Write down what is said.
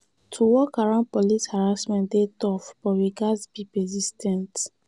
to work around police harassment dey tough but we gats be persis ten t.